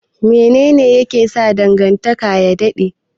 Mene ne yake sa dangantaka ya dade?